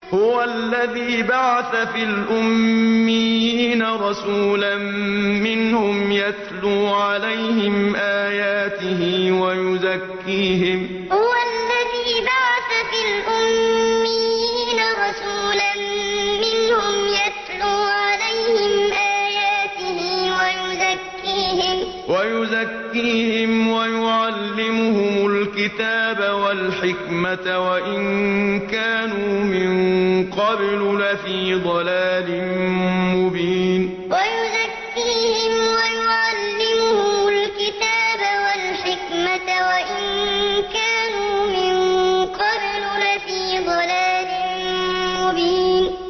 هُوَ الَّذِي بَعَثَ فِي الْأُمِّيِّينَ رَسُولًا مِّنْهُمْ يَتْلُو عَلَيْهِمْ آيَاتِهِ وَيُزَكِّيهِمْ وَيُعَلِّمُهُمُ الْكِتَابَ وَالْحِكْمَةَ وَإِن كَانُوا مِن قَبْلُ لَفِي ضَلَالٍ مُّبِينٍ هُوَ الَّذِي بَعَثَ فِي الْأُمِّيِّينَ رَسُولًا مِّنْهُمْ يَتْلُو عَلَيْهِمْ آيَاتِهِ وَيُزَكِّيهِمْ وَيُعَلِّمُهُمُ الْكِتَابَ وَالْحِكْمَةَ وَإِن كَانُوا مِن قَبْلُ لَفِي ضَلَالٍ مُّبِينٍ